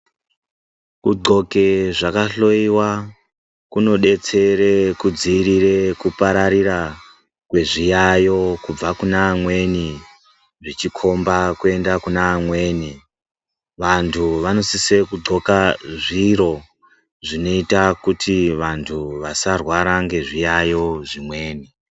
Kudhloke zvakahloyewa kunodetsere kudziirire kupararira kwezviyayo kubva kune amweni zvichikhomba kuenda kune amweni. Vantu vonisise kudhloka zviro zvinoita kuti vantu vasarwara nezviyaiyo zvimweni.